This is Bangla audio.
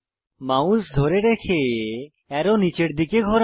মাউস ধরে রেখে অ্যারো নীচের দিকে ঘোরান